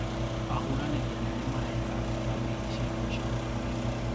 Ahũranirĩ anene maraĩka kabenĩ cia mwisho Holand